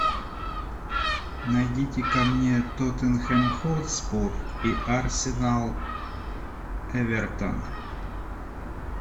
найдите ка мне тоттенхэм хотспур и арсенал эвертон